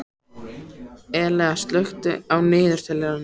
Elea, slökktu á niðurteljaranum.